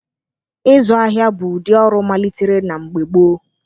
Ịzụ ahịa bụ ụdị ọrụ malitere na mgbe gboo.